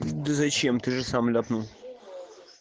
да зачем ты же сам ляпнул